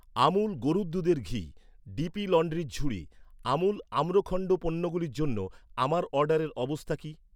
আমুল গরুর দুধের ঘি , ডিপি লন্ড্রির ঝুড়ি , আমুল আম্রখণ্ড পণ্যগুলোর জন্য আমার অর্ডারের অবস্থা কী